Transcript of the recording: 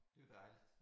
Det var dejligt